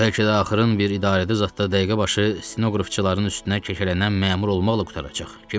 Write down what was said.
Bəlkə də axırın bir idarədə zad da dəqiqəbaşı stenoqrafçıların üstünə kəklənən məmur olmaqla qurtaracaq.